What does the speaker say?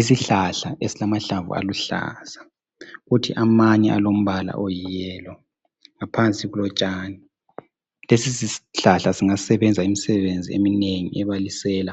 Isihlahla esilamahlamvu aluhlaza, kuthi amanye alombala oyiyelo ,ngaphansi kulotshani. Lesisihlahla singasebenza imisebenzi eminengi ebalisela